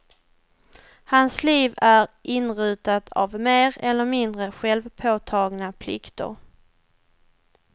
Hans liv är inrutat av mer eller mindre självpåtagna plikter.